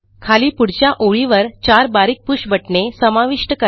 खाली पुढच्या ओळीवर चार बारीक पुष बटणे समाविष्ट करा